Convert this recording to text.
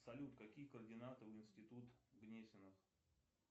салют какие координаты у институт гнесиных